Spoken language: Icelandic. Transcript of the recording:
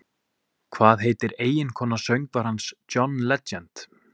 Hvað heitir eiginkona söngvarans John Legend?